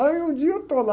Aí um dia eu estou lá,